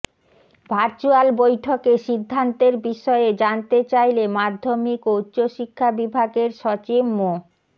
virtual বৈঠকে সিদ্ধান্তের বিষয়ে জানতে চাইলে মাধ্যমিক ও উচ্চশিক্ষা বিভাগের সচিব মো